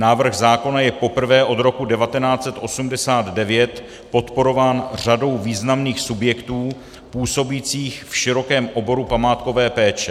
Návrh zákona je poprvé od roku 1989 podporován řadou významných subjektů působících v širokém oboru památkové péče.